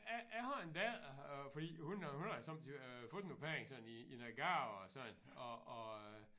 Jeg jeg har en datter øh fordi hun har hun har jo sommetider fået nogle penge sådan i i noget gave og sådan og og øh